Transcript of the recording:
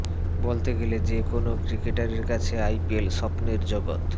বলতে গেলে যে কোনও ক্রিকেটারের কাছে আইপিএল স্বপ্নের জগৎ